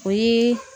O ye